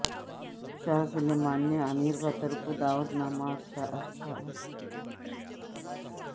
شاہ Salman نے امیر Qatar کو دعوت نامہ ارسال کر دیا